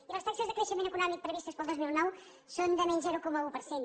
i les taxes de creixement econòmic previstes per al dos mil nou són de menys zero coma un per cent